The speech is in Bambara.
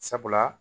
Sabula